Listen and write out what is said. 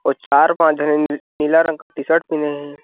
और चार पांच झन नीला रंग का टी शर्ट पहिने हे।